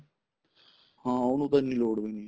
ਹਾਂ ਉਹਨੂੰ ਤਾਂ ਇੰਨੀ ਲੋੜ ਵੀ ਨੀ